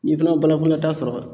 N'i fana ye banakɔla taa sɔrɔ